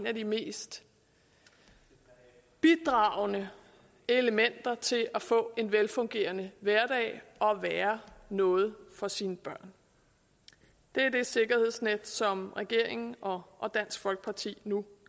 af de mest bidragende elementer til at få en velfungerende hverdag og være noget for sine børn det er det sikkerhedsnet som regeringen og og dansk folkeparti nu